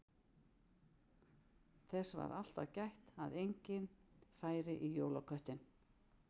Þess var alltaf gætt að enginn færi í jólaköttinn.